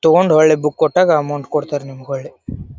ತೊಕೊಂಡ್ ಹೊಳ್ಳೆ ಬುಕ್ ಕೊಟ್ಟಾಗ ಅಮೌಂಟ್ ಕೊಡ್ತರೆ ನಿಮ್ಗೊಳ್ಳೆ.